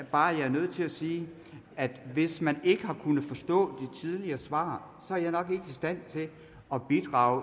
bare er nødt til at sige at hvis man ikke har kunnet forstå de tidligere svar er jeg nok ikke i stand til at bidrage